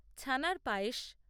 ছানার পায়েস